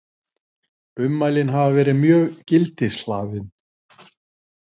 Ummælin hafi verið mjög gildishlaðin